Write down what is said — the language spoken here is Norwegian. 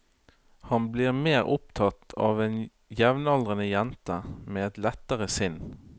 Han blir mer opptatt av en jevnaldrende jente med et lettere sinn.